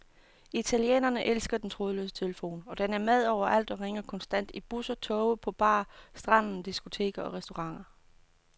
Italienerne elsker den trådløse telefon, og den er med overalt og ringer konstant i busser, toge, på bar, stranden, diskoteker og restauranter.